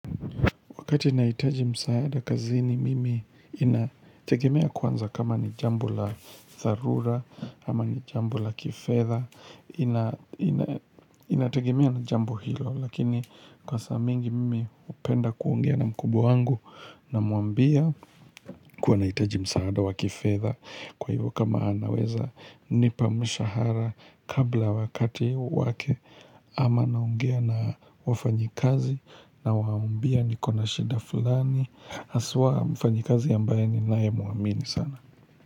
Wakati nahitaji msaada kazini mimi inategemea kwanza kama ni jambo la dharura, ama ni jambo la kifedha, inategemea na jambo hilo. Lakini kwa saa mingi mimi hupenda kuongea na mkubwa wangu namuambia kuwa nahitaji msaada wa kifedha. Kwa hivyo kama anaweza nipa mshahara kabla wakati wake ama naongea na wafanyikazi na waambia niko na shida fulani haswa mfanyikazi ambaye ninaye muamini sana.